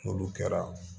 N'olu kɛra